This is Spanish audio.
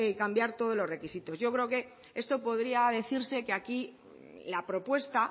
cambiar todos los requisitos yo creo que esto podría decirse que aquí la propuesta